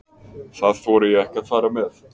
Það þori ég ekki að fara með.